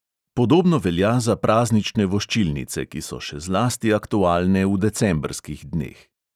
Podobno velja za praznične voščilnice, ki so še zlasti aktualne v decembrskih dneh.